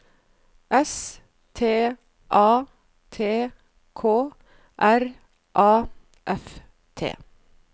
S T A T K R A F T